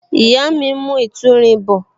Ìyá mi ń mu ìtúrin bọ